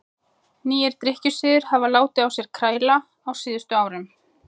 Nýir drykkjusiðir hafa látið á sér kræla á síðustu árum.